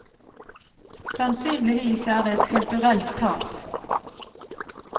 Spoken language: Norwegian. Sannsynligvis er det et kulturelt tap.